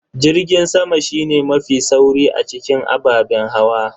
Jirgin sama shine mafi sauri a cikin ababen hawa.